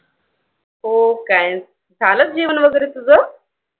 हो काय, झालं जेवण वगैरे तुझं?